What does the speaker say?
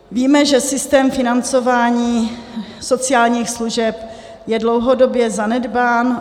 Víme, že systém financování sociálních služeb je dlouhodobě zanedbán.